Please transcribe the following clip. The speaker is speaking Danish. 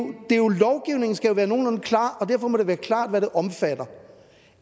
være nogenlunde klar og derfor må det være klart hvad det her omfatter